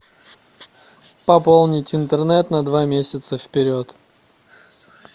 пополнить интернет на два месяца вперед